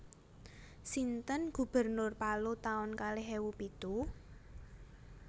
Sinten gubernur Palu taun kalih ewu pitu?